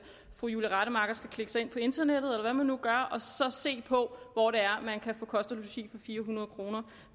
fru julie rademacher skal klikke sig ind på internettet eller hvad man nu gør og se på hvor det er man kan få kost og logi for fire hundrede kroner